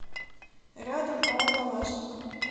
рядом ао калашников